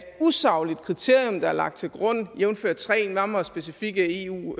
usagligt kriterium der er lagt til grund jævnfør tre nærmere specifikke eu